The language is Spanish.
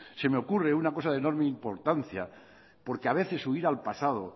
se me ocurre una cosa de enorme importancia porque a veces huir al pasado